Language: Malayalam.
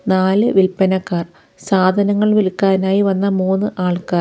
നാലു വിൽപ്പനക്കാർ സാധനങ്ങൾ വിൽക്കാനായി വന്നു മൂന്ന് ആൾക്കാർ.